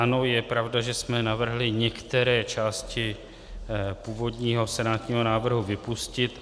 Ano, je pravda, že jsme navrhli některé části původního senátního návrhu vypustit.